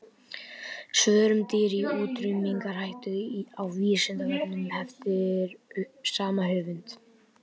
Svör um dýr í útrýmingarhættu á Vísindavefnum eftir sama höfund.